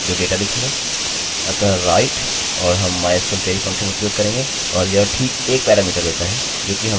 अतः write और हम mysql query फंक्शनfuction उपयोग करेंगे